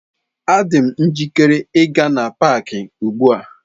Adị m njikere ịga n'paaki ugbu a.